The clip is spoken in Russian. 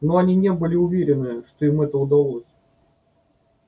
но они не были уверены что им это удалось